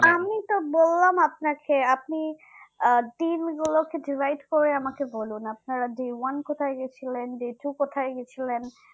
আমি তো বললাম আপনাকে আপনি দিন গুলাকে divide করে আমাকে বলুন আপনারা day one কোথায় গেছিলেন day two কোথায় গেছিলেন